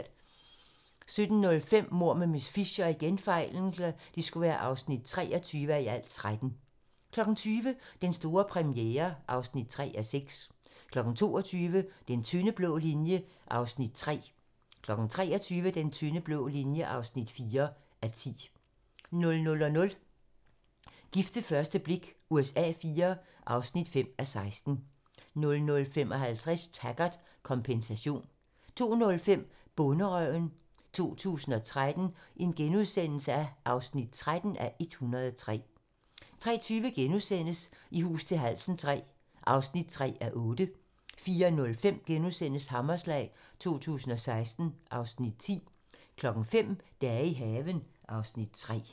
17:05: Mord med miss Fisher (23:13) 20:00: Den store premiere (3:6) 22:00: Den tynde blå linje (3:10) 23:00: Den tynde blå linje (4:10) 00:00: Gift ved første blik USA IV (5:16) 00:55: Taggart: Kompensation 02:05: Bonderøven 2013 (13:103)* 03:20: I hus til halsen III (3:8)* 04:05: Hammerslag 2016 (Afs. 10)* 05:00: Dage i haven (Afs. 3)